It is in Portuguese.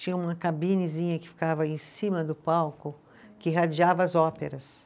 Tinha uma cabinezinha que ficava em cima do palco, que radiava as óperas.